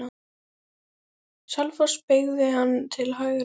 Selfoss beygði hann til hægri.